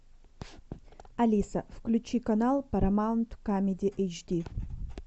алиса включи канал парамаунт камеди эйч ди